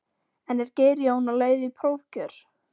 En er Geir Jón á leið í prófkjör?